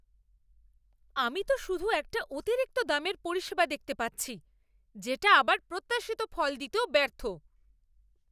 আমি তো শুধু একটা অতিরিক্ত দামের পরিষেবা দেখতে পাচ্ছি, যেটা আবার প্রত্যাশিত ফল দিতেও ব্যর্থ।